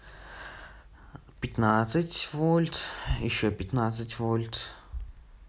пятнадцать вольт ещё пятнадцать вольт